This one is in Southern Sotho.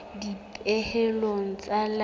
dipehelo tsa leano di ka